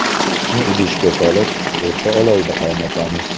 Sutni idishga solib, o‘rta olovda qaynatamiz.